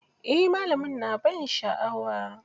Eh, malami na ban sha'awa.